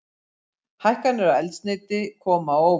Hækkanir á eldsneyti koma á óvart